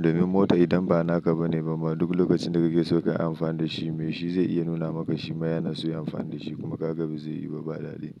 Domin mota idan ba naka ba ne ba ne bama duk lokacin da kake so ka yi amfani da shi mai shi zai iya nuna maka shi ma yana so ya yi amfani da shi kuma kaga bazai yiwu ba, ba daɗi.